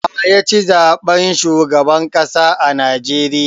Wa ya ci zaɓen shugaban ƙasa a Najeriya?